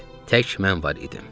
Tək mən var idim.